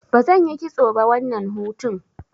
Bazan yi kitso ba wannan hutun.